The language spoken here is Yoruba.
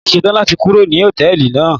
Mo ti ṣe tán láti kúrò ní Hòtẹ́lìì náà.